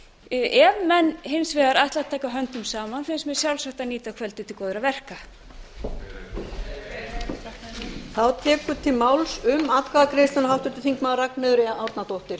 ef menn hins vegar ætla að taka höndum saman finnst mér sjálfsagt að nýta kvöldið til góðra verka heyr heyr